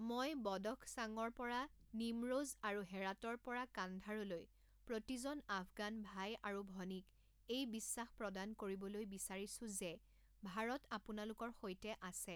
মই বদখশাঙৰ পৰা নিমৰোজ আৰু হেৰাতৰ পৰা কান্ধাৰলৈ প্ৰতিজন আফগান ভাই আৰু ভনীক এই বিশ্বাস প্ৰদান কৰিবলৈ বিচাৰিছো যে ভাৰত আপোনালোকৰ সৈতে আছে।